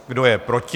Kdo je proti?